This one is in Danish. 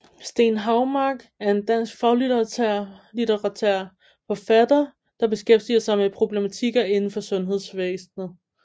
Steen Houmark er en dansk faglitterær forfatter der beskæftiger sig med problematikker indenfor sundhedvæsenet